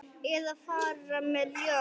Eða fara með ljóð.